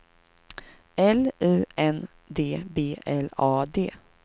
L U N D B L A D